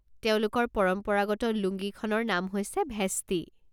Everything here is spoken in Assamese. তেওঁলোকৰ পৰম্পৰাগত লুঙ্গীখনৰ নাম হৈছে ভেষ্টি।